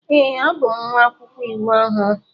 Ee, abụ m nwa akwụkwọ iwu ọhụrụ.